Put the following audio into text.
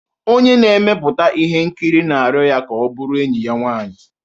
Onye na-emepụta ihe nkiri na-arịọ ya ka ọ bụrụ enyi ya nwanyị.